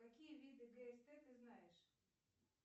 какие виды гст ты знаешь